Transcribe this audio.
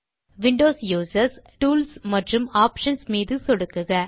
Windows users tools மற்றும் options மீது சொடுக்குக